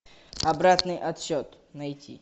обратный отсчет найти